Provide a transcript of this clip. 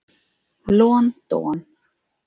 Lon don.